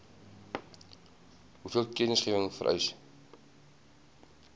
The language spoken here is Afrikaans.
hoeveel kennisgewing vereis